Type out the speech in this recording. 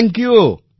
thank you